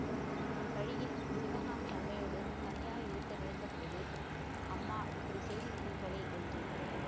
வழியில் சிவகாமி அம்மையோடு தனியாயிருக்க நேர்ந்த போது அம்மா இப்படி செய்து விட்டீர்களே என்றேன்